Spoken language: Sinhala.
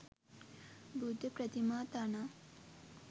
බුද්ධ ප්‍රතිමා තනා